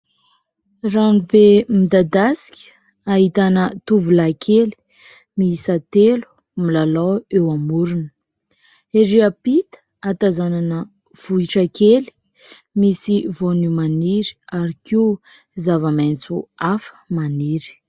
Rano be midadasika ahitana tovolahy kely mihisa telo milalao eo amorony, erỳ ampita ahatazanana vohitra kely misy voanio maniry ary koa zava-maitso hafa maniry.